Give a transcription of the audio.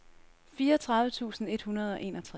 fireogtredive tusind et hundrede og enogtres